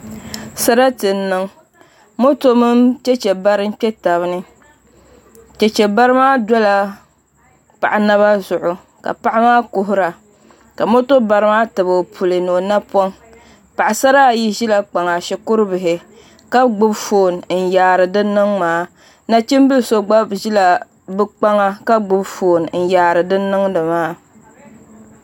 Sarati n niŋ moto mini chɛchɛ bari n kpɛ tabi ni chɛchɛ bari maa dola paɣa naba zuɣu ka paɣa maa kuhura ka moto bari maa tabi o puli ni o napoŋ paɣasara ayi ʒila kpaŋa shikuru bihi ka gbubi foon nyaari din niŋ maa nachimbili so gba ʒila bi kpaŋa ka gbubi foon n yaari din niŋdi maa